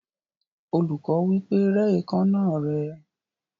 Olùkọ́ wí pé, "Rẹ́ èékánná rẹ."